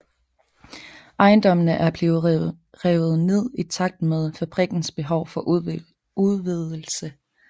Ejendommene er blevet revet ned i takt med fabrikkens behov for udvidelse